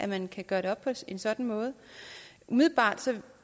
man kan gøre det op på en sådan måde umiddelbart